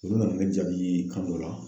Olu nana ne jaabi ka n'o la.